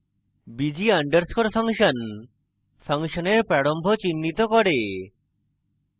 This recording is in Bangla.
bg underscore function ফাংশনের প্রারম্ভ চিহ্নিত করে